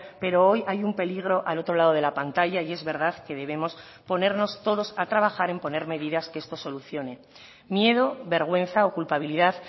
pero hoy hay un peligro al otro lado de la pantalla y es verdad que debemos ponernos todos a trabajar en poner medidas que esto solucione miedo vergüenza o culpabilidad